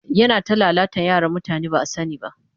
Yana ta lalata yaran mutane ba a sani ba